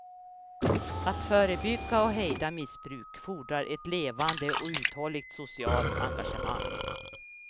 Att förebygga och hejda missbruk fordrar ett levande och uthålligt socialt engagemang.